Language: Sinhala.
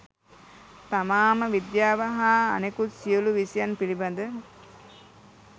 තමාම විද්‍යාව හා අනෙකුත් සියලු විෂයන් පිළිබද